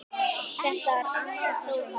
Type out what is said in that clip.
Þetta er ansi falleg mynd.